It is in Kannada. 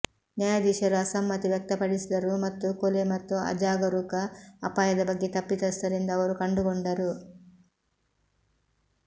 ನ್ಯಾಯಾಧೀಶರು ಅಸಮ್ಮತಿ ವ್ಯಕ್ತಪಡಿಸಿದರು ಮತ್ತು ಕೊಲೆ ಮತ್ತು ಅಜಾಗರೂಕ ಅಪಾಯದ ಬಗ್ಗೆ ತಪ್ಪಿತಸ್ಥರೆಂದು ಅವರು ಕಂಡುಕೊಂಡರು